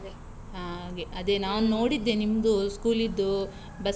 ಹಾಗೆ, ಅದೇ ನಾನು ನೋಡಿದ್ದೆ ನಿಮ್ದು school ದ್ದು bus.